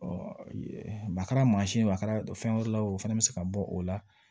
a kɛra mansin ye o a kɛra fɛn wɛrɛ la o fana bɛ se ka bɔ o la